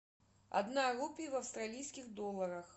одна рупия в австралийских долларах